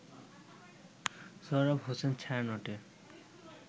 Sohrab Hossain ছায়ানটের